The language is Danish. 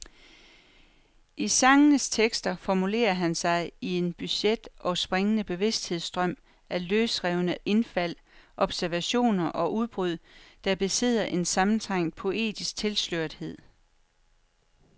I sangenes tekster formulerer han sig i en bugtet og springende bevidsthedsstrøm af løsrevne indfald, observationer og udbrud, der besidder en sammentrængt poetisk tilslørethed.